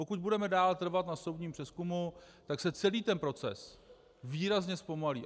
Pokud budeme dál trvat na soudním přezkumu, tak se celý ten proces výrazně zpomalí.